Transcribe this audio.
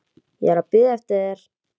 Ég er að bíða eftir þér.